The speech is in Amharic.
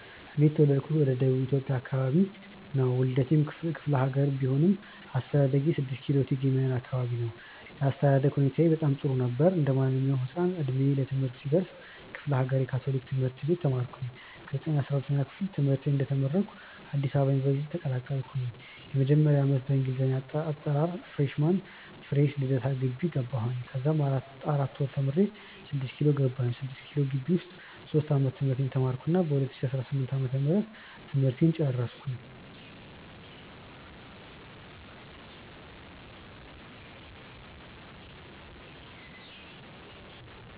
እኔ የተውለድኩት ወደ ደቡብ ኢትዮጵያ አከባቢ ነው። ዉልዴቴ ክፍሌሀገር ቢሆንም አስተዳደጌ 6 ኪሎ እቴጌ መነን አከባቢ ነው። የአስተዳደግ ሁኔታዬ በጣም ጥሩ ነበር። እንዴማንኛዉም ህፃን እድሜ ለትምህርት ሲደርስ ክፍሌሀገር የ ካቶሊክ ትምህርት ቤት ተማርኩኝ። ከ 9ኛ-12ኛ ክፍል ትምህርተን እንደተመረኩ አዲስ አበባ ዩኒቨርሲቲ ተቀላቀልኩ። የመጀመሪያ ዓመት በእንግሊዘኛ አጠራር freshman (ፍሬሽ ) ልደታ ግቢ ገባሁኝ። ከዛማ 4 ወር ተምሬ 6ኪሎ ገባሁኝ። 6ኪሎ ግቢ ዉስጥ ሶስት ዓመት ትምህርቴን ተማርኩና በ 2018 ዓ/ም ትምህርቴን ጨረስኩ።